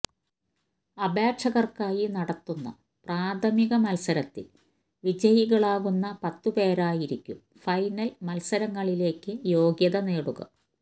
അപേക്ഷകർക്കായി നടത്തുന്ന പ്രാഥമിക മത്സരത്തിൽ വിജയികളാകുന്ന പത്തു പേരായിരിക്കും ഫൈനൽ മത്സരങ്ങളിലേക്ക് യോഗ്യത നേടുക